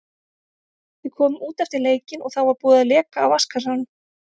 Við komum út eftir leikinn og þá var búið að leka af vatnskassanum.